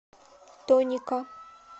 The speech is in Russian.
тоника